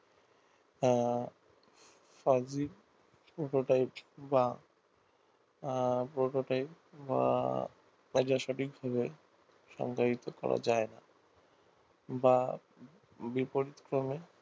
হ্যাঁ সার্বিক prototype বা prototype বা সঠিক ভাবে সম্পাদিত করা যায় না বা বিপরীতক্রমে